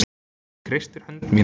Hún kreistir hönd mína.